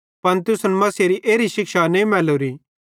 पन तुसन मसीहेरी एरी शिक्षा नईं मैल्लोरी